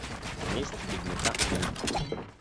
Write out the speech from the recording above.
месть бедняка найди